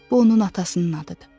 Bu onun atasının adıdır.